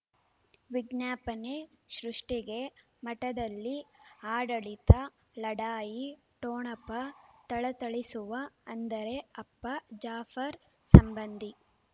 ವಿಜ್ಞಾಪನೆ ಸೃಷ್ಟಿಗೆ ಮಠದಲ್ಲಿ ಆಡಳಿತ ಲಢಾಯಿ ಠೊಣಪ ಥಳಥಳಿಸುವ ಅಂದರೆ ಅಪ್ಪ ಜಾಫರ್ ಸಂಬಂಧಿ